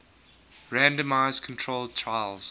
randomized controlled trials